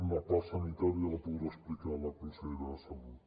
la part sanitària la podrà explicar la consellera de salut